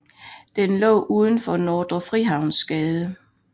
Den lå ud for Nordre Frihavnsgade